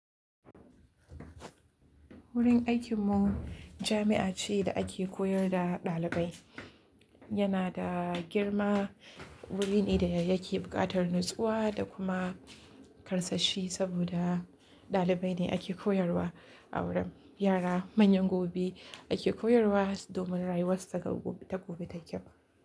Wurin aikinmu jami'a ce da ake koyar da ɗalibai. Yana da girma, wuri ne da ya yake buƙatar natsuwa da kuma karsashi saboda ɗalibai ne ake koyarwa. Aure, yara manyan gobe ake koyarwa domin rayuwar su ta gobe tayi kyau.